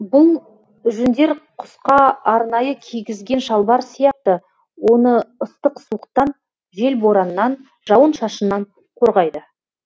бұл жүндер құсқа арнайы кигізген шалбар сияқты оны ыстық суықтан жел бораннан жауын шашыннан қорғайды